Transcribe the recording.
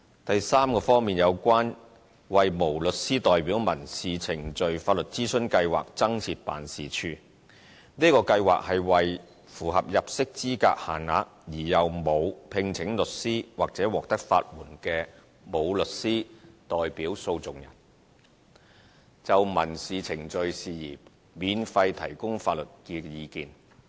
第三方面，有關為無律師代表民事程序法律諮詢計劃增設辦事處：這個計劃是為符合入息資格限額而又沒有聘請律師或獲得法援的無律師代表訴訟人，就民事程序事宜免費提供法律意見。